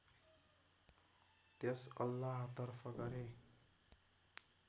त्यस अल्लाहतर्फ गरेँ